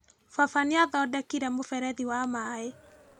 Baba nĩathondekire mũberethi wa maĩ.